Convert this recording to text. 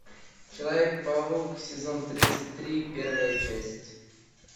человек паук сезон тридцать три первая часть